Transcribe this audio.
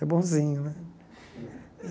É bonzinho, né?